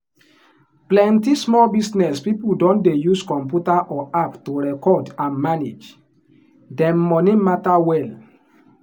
plenty small business people don dey use computer or app to record and manage them money matter well.